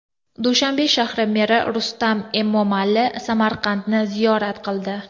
Dushanbe shahri meri Rustam Emomali Samarqandni ziyorat qildi .